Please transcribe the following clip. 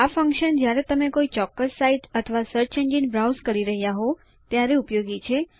આ ફન્કશન જ્યારે તમે કોઈ ચોક્કસ સાઇટ અથવા સર્ચ એન્જિન બ્રાઉઝ કરી રહ્યા હોઉં ત્યારે ઉપયોગી છે